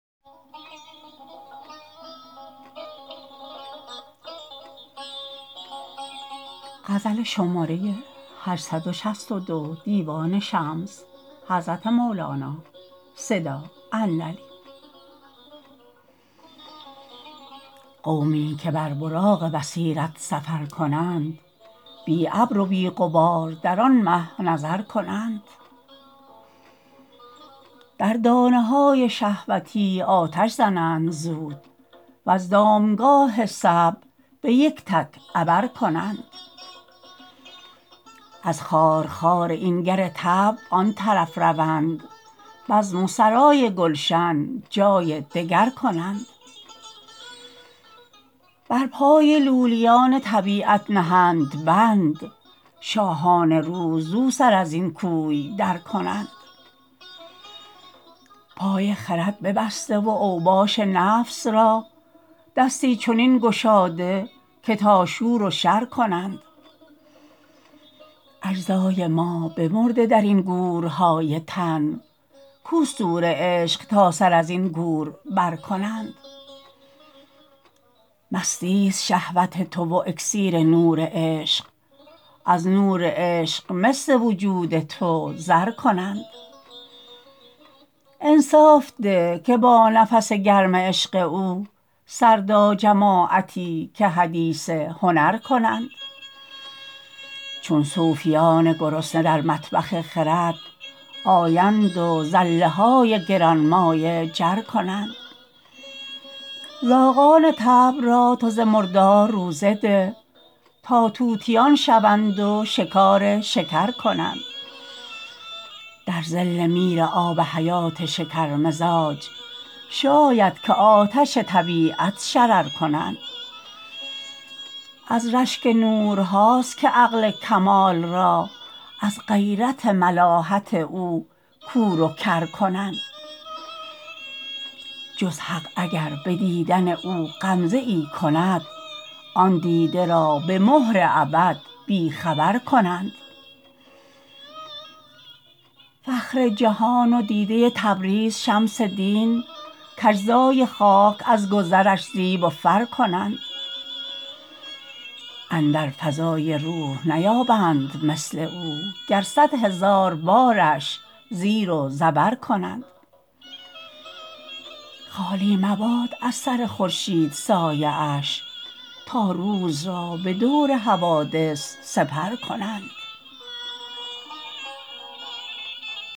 قومی که بر براق بصیرت سفر کنند بی ابر و بی غبار در آن مه نظر کنند در دانه های شهوتی آتش زنند زود وز دامگاه صعب به یک تک عبر کنند از خارخار این گر طبع آن طرف روند بزم و سرای گلشن جای دگر کنند بر پای لولیان طبیعت نهند بند شاهان روح زو سر از این کوی درکنند پای خرد ببسته و اوباش نفس را دستی چنین گشاده که تا شور و شر کنند اجزای ما بمرده در این گورهای تن کو صور عشق تا سر از این گور برکنند مسیست شهوت تو و اکسیر نور عشق از نور عشق مس وجود تو زر کنند انصاف ده که با نفس گرم عشق او سردا جماعتی که حدیث هنر کنند چون صوفیان گرسنه در مطبخ خرد آیند و زله های گران مایه جز کنند زاغان طبع را تو ز مردار روزه ده تا طوطیان شوند و شکار شکر کنند در ظل میرآب حیات شکرمزاج شاید که آتشان طبیعت شرر کنند از رشک نورها است که عقل کمال را از غیرت ملاحت او کور و کر کنند جز حق اگر به دیدن او غمزه ای کند آن دیده را به مهر ابد بی خبر کنند فخر جهان و دیده تبریز شمس دین کاجزای خاک از گذرش زیب و فر کنند اندر فضای روح نیابند مثل او گر صد هزار بارش زیر و زبر کنند خالی مباد از سر خورشید سایه اش تا روز را به دور حوادث سپر کنند